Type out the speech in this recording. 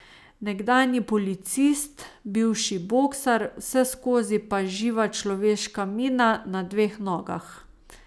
Nekdanji policist, bivši boksar, vseskozi pa živa človeška mina na dveh nogah.